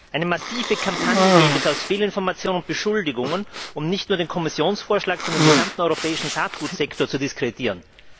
Eine massive Kampagne gäbe es aus Fehlinformation und Beschuldigungen, um nicht nur den Kommissionsvorschlag, sondern den gesamten europäischen Saatgutsektor zu diskreditieren.